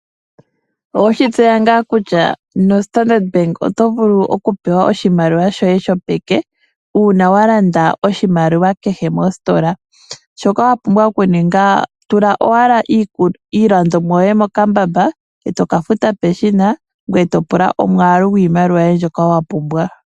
Owe shitseya ngaa kutya nombaanga yo Standard otovulu okupewa oshimaliwa shoye shopeke uuna walanda oshilandomwa kehe mositola? Shoka wapumbwa okuninga, tula owala iilandomwa yoye mokambamba eto kafuta peshina ngoye etopula omwaalu gwiimaliwa yoye mbyoka wapumbwa.